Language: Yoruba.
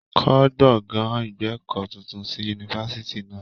Kọ́ gbọ̀gán ìgbẹ̀kọ́ tuntun sí yunifásitì náà.